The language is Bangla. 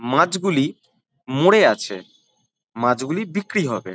মাছগুলি মরে আছে। মাছগুলি বিক্রি হবে।